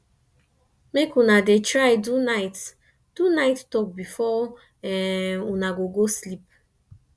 mek una dey try do nite do nite tok bifor una go go sleep